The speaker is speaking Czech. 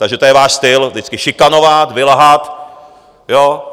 Takže to je váš styl, vždycky šikanovat, vylhat, jo?